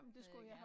Havde jeg gerne